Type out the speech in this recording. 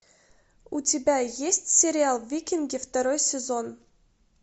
у тебя есть сериал викинги второй сезон